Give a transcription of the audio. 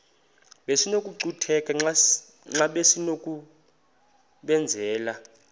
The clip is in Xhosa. besinokucutheka xa besinokubenzela